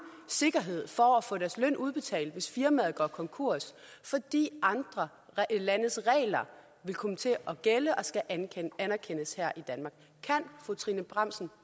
sikkerhed for at få deres løn udbetalt hvis firmaet går konkurs fordi andre landes regler vil komme til at gælde og skal anerkendes her i danmark kan fru trine bramsen